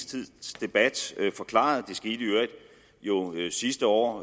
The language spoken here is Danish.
tids debat forklaret det skete i øvrigt sidste år